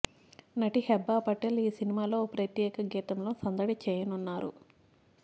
నటి హెబ్బాపటేల్ ఈ సినిమాలో ఓ ప్రత్యేక గీతంలో సందడి చేయనున్నారు